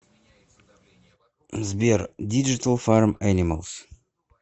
сбер диджитал фарм энималс